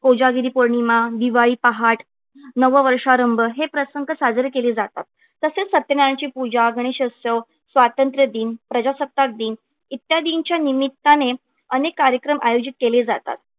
कोजागिरी पौर्णिमा दिवाळी पहाट नववर्षारंभ हे प्रसंग साजरे केले जातात तसेच सत्यनारायणाची पूजा गणेशोत्सव स्वातंत्र्य दिन प्रजासत्ताक दिन इत्यादींच्या निमित्ताने अनेक कार्यक्रम आयोजित केले जातात.